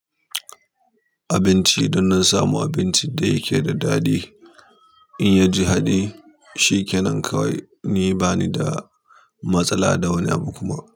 Abinci, idon na samu abincin da yake da daɗi, in ya ji haɗi shikenan kawai, ni bani da matsala da wani abu kuma.